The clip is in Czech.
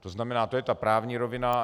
To znamená, to je ta právní rovina.